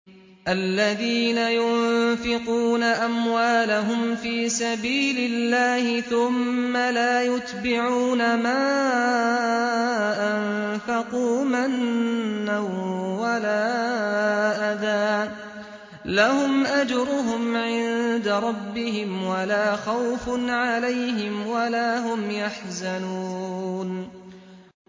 الَّذِينَ يُنفِقُونَ أَمْوَالَهُمْ فِي سَبِيلِ اللَّهِ ثُمَّ لَا يُتْبِعُونَ مَا أَنفَقُوا مَنًّا وَلَا أَذًى ۙ لَّهُمْ أَجْرُهُمْ عِندَ رَبِّهِمْ وَلَا خَوْفٌ عَلَيْهِمْ وَلَا هُمْ يَحْزَنُونَ